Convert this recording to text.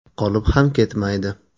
Qolib ham ketmaydi!